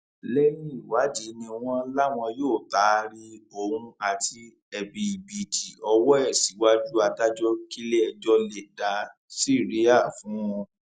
lẹyìn ìwádìí ni wọn láwọn yóò taari òun àti ẹbibììtì ọwọ ẹ síwájú adájọ kílẹẹjọ lè dá síríà fún un